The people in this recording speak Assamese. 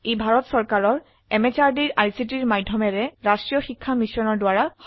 এটি ভাৰত সৰকাৰেৰ আইচিটি এমএচআৰডি এৰ নেশ্যনেল মিছন অন এডুকেশ্যন দ্বাৰা সমৰ্থিত